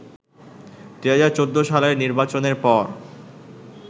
২০১৪ সালের নির্বাচনের পর